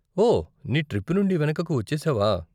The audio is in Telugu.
ఓ, నీ ట్రిప్ నుండి వెనుకకు వచ్చేసావా?